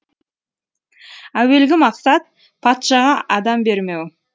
әуелгі мақсат патшаға адам бермеу